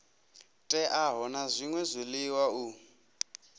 teaho na zwṅwe zwiḽiwa u